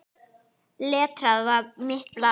Letrað var mitt blað.